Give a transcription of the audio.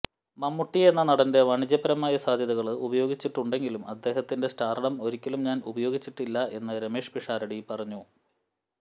മമ്മൂട്ടി എന്ന നടന്റെ വാണിജ്യപരമായ സാധ്യതകള് ഉപയോഗിച്ചിട്ടുണ്ടെങ്കിലും അദ്ദേഹത്തിന്റെ സ്റ്റാര്ഡം ഒരിക്കലും ഞാന് ഉപയോഗിച്ചിട്ടില്ല എന്ന് രമേശ് പിഷാരടി പറഞ്ഞു